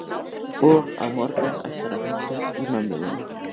Og á morgun ætlarðu að hringja í mömmu þína.